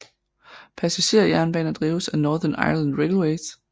Passager jernbaner drives af Northern Ireland Railways